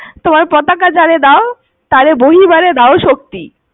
তোমার পতাকা যারে দাও, তারে বহিবারে দাও শক্তি।